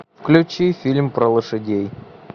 включи фильм про лошадей